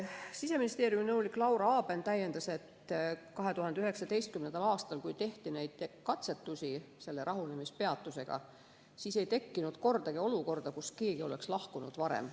Siseministeeriumi nõunik Laura Aaben täiendas, et 2019. aastal, kui tehti katsetusi selle rahunemispeatusega, ei tekkinud kordagi olukorda, kus keegi oleks lahkunud varem.